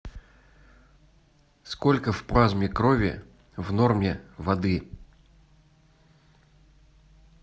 сколько в плазме крови в норме воды